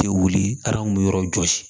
Tɛ wuli a kun bɛ yɔrɔ jɔsi